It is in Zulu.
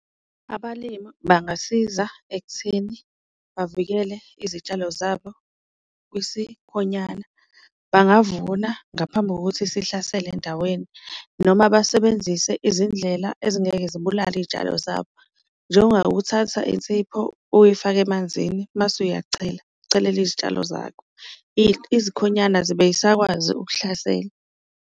Abalimi bangasiza ekutheni bavikele izitshalo zabo kwisikhonyana bangavuna ngaphambi kokuthi sihlasele endaweni, noma basebenzise izindlela ezingeke zibulale iyitshalo zabo, njengokuthatha insipho uyifake emanzini mase uyachela uchelele izitshalo zakho izikhonyana azibe zisakwazi ukuhlasela.